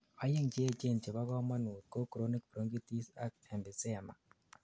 oyeng cheechen chebogomonut ko chronic bronchitis ak emphysema